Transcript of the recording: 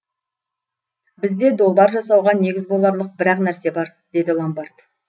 бізде долбар жасауға негіз боларлық бір ақ нәрсе бар деді ломбард